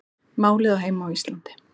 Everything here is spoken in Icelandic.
Málið á heima á Íslandi